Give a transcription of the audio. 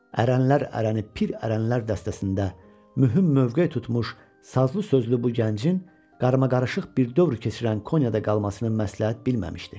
Ərənlər ərəni, pir ərənlər dəstəsində mühüm mövqe tutmuş sazlı sözlü bu gəncin qarmaqarışıq bir dövr keçirən Konyada qalmasını məsləhət bilməmişdi.